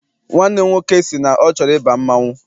Nwanne m nwoke sị na ọ chọrọ ịba mmanwụ.